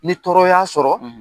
Ni tɔɔrɔ y'a sɔrɔ